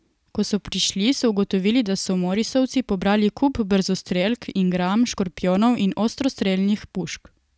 Ko so prišli, so ugotovili, da so morisovci pobrali kup brzostrelk ingram, škorpijonov in ostrostrelnih pušk.